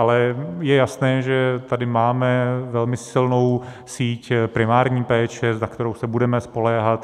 Ale je jasné, že tady máme velmi silnou síť primární péče, na kterou se budeme spoléhat.